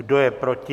Kdo je proti?